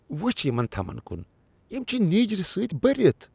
وٕچھ یمن تھمن کن۔ یم چھ نیٖجرٕ سۭتۍ بٔرتھ۔